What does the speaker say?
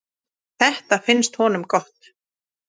Þetta finnst honum gott.